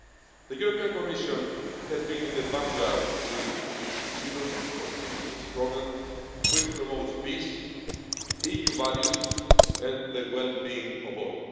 The Commission has been in the vanguard with its Europe for Citizens programme, which promotes peace, EU values and the well-being of all.